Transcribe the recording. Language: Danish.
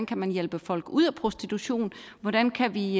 kan hjælpe folk ud af prostitution hvordan kan vi